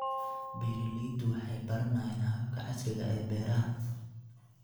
Beeraleydu waxay baranayaan hababka casriga ah ee beeraha.